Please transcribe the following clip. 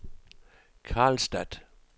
Karlstad